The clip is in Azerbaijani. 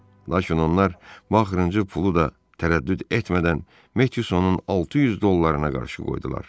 Lakin onlar bu axırıncı pulu da tərəddüd etmədən Metyusanın 600 dollarına qarşı qoydular.